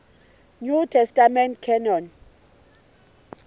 new testament canon